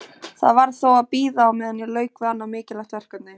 Það varð þó að bíða á meðan ég lauk við annað mikilvægt verkefni.